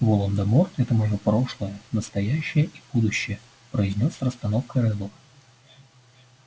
волан-де-морт это моё прошлое настоящее и будущее произнёс с расстановкой реддл